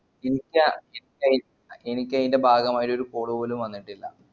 ഇൻക് ഇൻകയന്റെ ഭാഗായി ഒരു call പോലും വന്നിട്ടില്ല